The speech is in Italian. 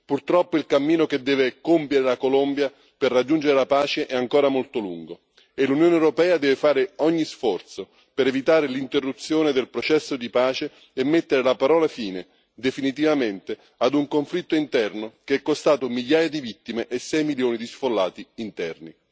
Purtroppo il cammino che deve compiere la Colombia per raggiungere la pace è ancora molto lungo e l'Unione europea deve fare ogni sforzo per evitare l'interruzione del processo di pace e mettere la parola fine, definitivamente, a un conflitto interno che è costato migliaia di vittime e 6 milioni di sfollati interni.